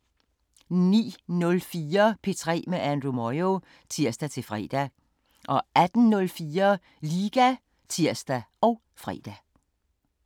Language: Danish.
09:04: P3 med Andrew Moyo (tir-fre) 18:04: Liga (tir og fre)